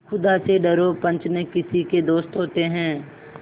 खुदा से डरो पंच न किसी के दोस्त होते हैं